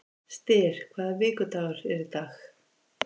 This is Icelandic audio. Styr, hvaða vikudagur er í dag?